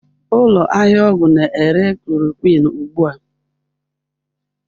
Ụlọ ahịa ọgwụ na-ere chloroquine ugbu a?